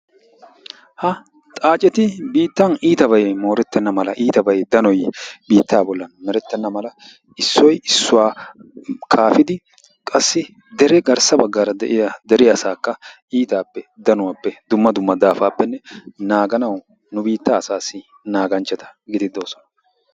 ha xaacetti biittan iitabay meretenna mala issoy issuwa kafidi qassi gasa bagaara de; iya asaakka iitappe naaaganawu, nu biitaa asaassi naaganchataa